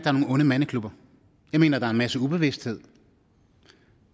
er nogle onde mandeklubber jeg mener at der er en masse ubevidsthed